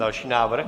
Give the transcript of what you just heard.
Další návrh.